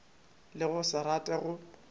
le go se rate go